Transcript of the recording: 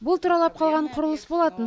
бұл тұралап қалған құрылыс болатын